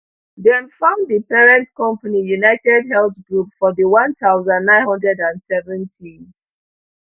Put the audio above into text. dem found di parent company unitedhealth group for di one thousand, nine hundred and seventys